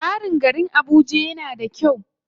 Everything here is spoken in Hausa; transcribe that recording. Tsarin garin Abuja yana da kyau sosai.